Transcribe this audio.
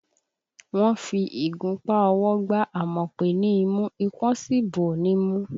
Wọ́n fi ìgunpá ọwọ́ gba Àmọ̀pé ní imú, ipón sì bò ó nímú